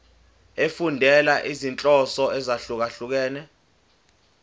efundela izinhloso ezahlukehlukene